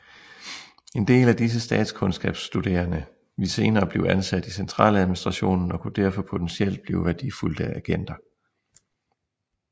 En del af disse statskundskabsstuderende ville senere blive ansat i centraladministrationen og kunne derfor potentielt blive værdifulde agenter